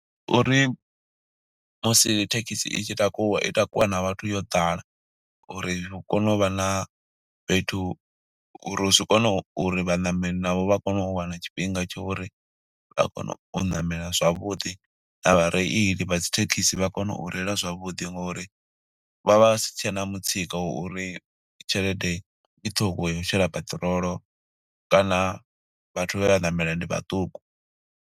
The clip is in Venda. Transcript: Ndi uri musi thekhisi i tshi takuwa, i takuwa na vhathu yo ḓala, uri hu kone uvha na fhethu uri zwi kone uri vhaṋameli navho vha kone u wana tshifhinga tsho uri vha kone u namela zwavhuḓi. Na vhareili vha dzithekhisi vha kone u reila zwavhuḓi, ngo uri vha vha vha si tshena mutsiko wa uri tshelede i ṱhukhu ya u shela peṱirolo, kana vhathu vhe vha ṋamela ndi vhaṱuku.